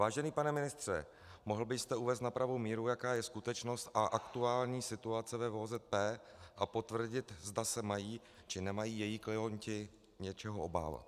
Vážený pane ministře, mohl byste uvést na pravou míru, jaká je skutečnost a aktuální situace ve VOZP, a potvrdit, zda se mají či nemají její klienti něčeho obávat?